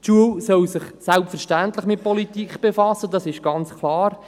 – Die Schule soll sich selbstverständlich mit Politik befassen, das ist ganz klar.